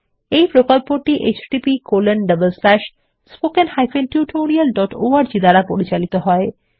এই প্রকল্পটি httpspoken tutorialorg দ্বারা পরিচালিত হয়